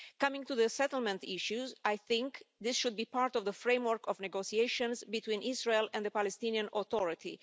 Coming to the settlement issues, I think this should be part of the framework of negotiations between Israel and the Palestinian Authority.